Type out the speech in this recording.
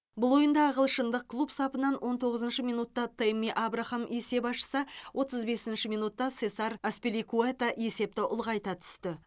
бұл ойында ағылшындық клуб сапынан он тоғызыншы минутта тэмми абрахам есеп ашса отыз бесінші минутта сесар аспиликуэта есепті ұлғайта түсті